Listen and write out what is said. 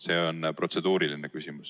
See on protseduuriline küsimus.